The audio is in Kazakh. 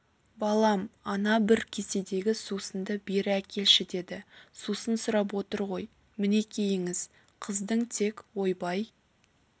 балам ана бір кеседегі сусынды бері әкелші деді сусын сұрап отыр ғой мінекейіңіз қыздың тек ойбай